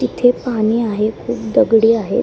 तिथे पाणी आहे खूप दगडी आहेत.